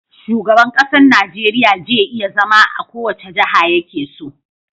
Shugaban ƙasar Nigeria je iya zama a kowace jaha yakeso